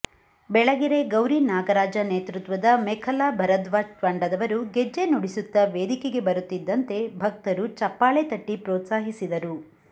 ಬೆಳಗೆರೆ ಗೌರಿ ನಾಗರಾಜ ನೇತೃತ್ವದ ಮೆಖಲ ಭರಧ್ವಾಜ್ ತಂಡದವರು ಗೆಜ್ಜೆ ನುಡಿಸುತ್ತಾ ವೇದಿಕೆಗೆ ಬರುತ್ತಿದ್ದಂತೆ ಭಕ್ತರು ಚಪ್ಪಾಳೆ ತಟ್ಟಿ ಪ್ರೋತ್ಸಾಹಿಸಿದರು